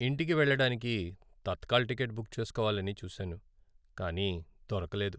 ఇంటికి వెళ్లడానికి Tatkal ticket book చేస్కోవాలని చూసాను, కానీ దొరకలేదు.